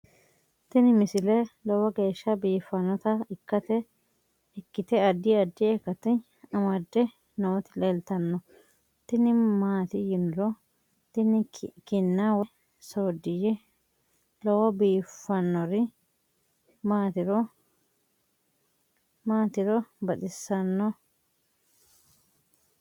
tini misile lowo geeshsha biiffannota ikkite addi addi akata amadde nooti leeltannoe tini maati yiniro tini kinna woy sooddiyye lowo biiffannori maatiro li'toro baxissannojhe